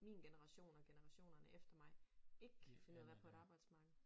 Min generation og generationerne efter mig ikke kan finde ud af at være på et arbejdsmarked